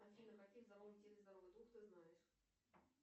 афина какие в здоровом теле здоровый дух ты знаешь